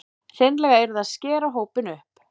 Hreinlega yrði að skera hópinn upp